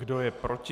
Kdo je proti?